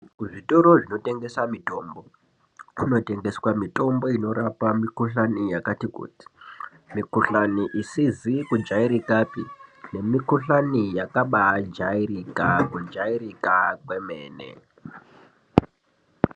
Ku zvitoro zvino tengesa mitombo kuno tengeswa mitombo inorapa mi kuhlani yakati kuti mi kuhlani isizi ku jairikapi ne mi kuhlani yakabai jairika ku jairika kwemene.